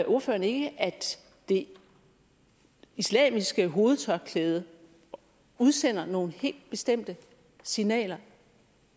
ordføreren ikke at det islamiske hovedtørklæde udsender nogle helt bestemte signaler